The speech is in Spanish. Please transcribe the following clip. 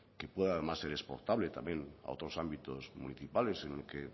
que pueda además ser exportable también a otros ámbitos municipales en el que